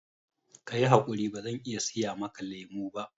Ka yi haƙuri, bazan iya siya maka lemo ba